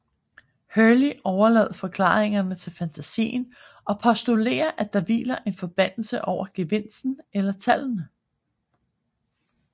Hurley overlader forklaringerne til fantasien og postulerer at der hviler en forbandelse over gevinsten eller tallene